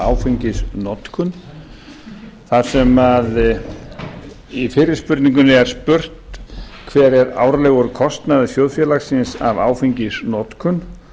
áfengisnotkun þar sem í fyrri spurningunni er spurt hver er árlegur kostnaður þjóðfélagsins af áfengisnotkun